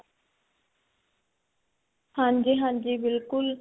ਹਾਂਜੀ ਹਾਂਜੀ ਬਿਲਕੁਲ